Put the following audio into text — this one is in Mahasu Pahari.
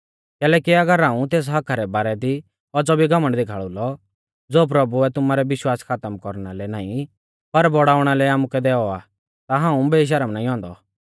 कैलैकि अगर हाऊं तेस हक्क्का रै बारै दी औज़ौ भी घमण्ड देखाल़ु लौ ज़ो प्रभुऐ तुमारै विश्वास खातम कौरना लै नाईं पर बौड़ाउणा लै आमुकै दैऔ आ ता हाऊं बेशर्म नाईं औन्दौ